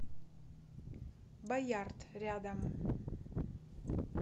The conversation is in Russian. боярд рядом